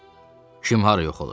Kim hara yox olur?